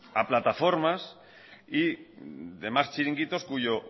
a plataformas y demás chiringuitos cuyo